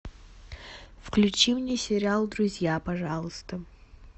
включи мне сериал друзья пожалуйста